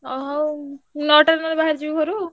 ହଉ ହଉ ମୁଁ ନଅଟାରେ ନହେଲେ ବାହାରି ଯିବି ଘରୁ।